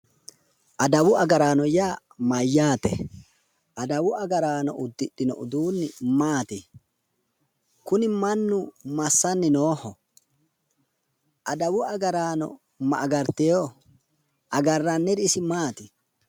Adawu agaraano yaa mayyaate? adawu agaraano uddidhino uduunni maati? kuni mannu massanni nooho? adawu agaraano ma agartewo? agarranniri isi maati?